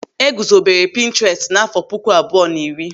E gozobere pinturestu n'àfọ́ puku abụọ na iri.